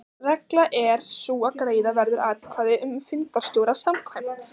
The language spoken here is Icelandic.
Reglan er sú að greiða verður atkvæði um fundarstjóra samkvæmt